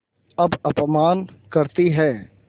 अब अपमान करतीं हैं